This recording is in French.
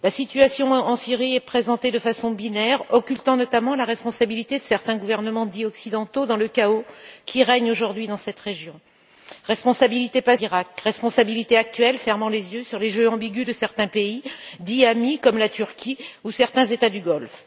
La situation en Syrie est présentée de façon binaire, occultant notamment la responsabilité de certains gouvernements dits occidentaux dans le chaos qui règne aujourd'hui dans cette région. Une responsabilité passée, avec la guerre d'Iraq, et une responsabilité actuelle, avec le choix de fermer les yeux sur les jeux ambigus de certains pays dits amis, comme la Turquie, ou certains États du Golfe.